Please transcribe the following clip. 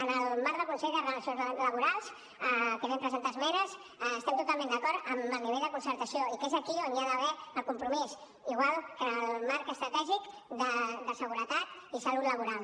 en el marc del consell de relacions laborals que hi vam presentar esmenes estem totalment d’acord amb el nivell de concertació i que és aquí on hi ha d’haver el compromís igual que en el marc estratègic de seguretat i salut laboral